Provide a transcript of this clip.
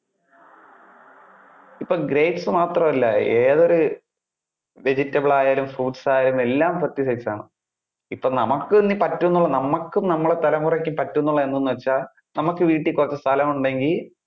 ഇപ്പൊ grapes മാത്രം അല്ല ഏതൊരു, vegetable ആയാലും fruits ആയാലും എല്ലാം pesticised ആണ്. ഇപ്പൊ നമുക്ക് ഇനി പറ്റുന്നത് നമുക്ക് നമ്മുടെ തലമുറയ്ക്കും പറ്റുന്ന എന്താണെന്നു വെച്ചാൽ നമുക്ക് വീട്ടിൽ കുറച്ചു സ്ഥലം ഉണ്ടെങ്കിൽ